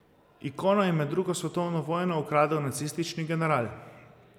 Ikono je med drugo svetovno vojno ukradel nacistični general.